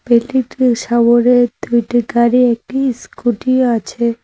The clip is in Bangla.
সাবরে দুইটি গাড়ি একটি ইস্কুটিও আছে।